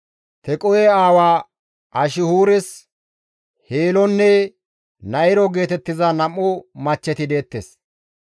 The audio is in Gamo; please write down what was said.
Tequhe aawa Ashihuures Heelonne Na7iro geetettiza nam7u machcheti deettes.